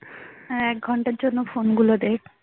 হ্যাঁ এক ঘন্টার জন্য ফোন গুলো দে